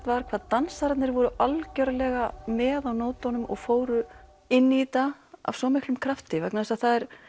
var hvað dansararnir voru algjörlega með á nótunum og fóru inn í þetta af svo miklum krafti vegna þess að það er